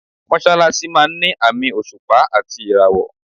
Mọ́ṣálásí máa ń ni àmì òṣùpá àti ìràwọ̀.